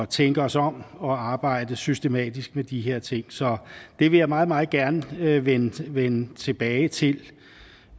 tænke os om og arbejde systematisk med de her ting så det vil jeg meget meget gerne vende vende tilbage til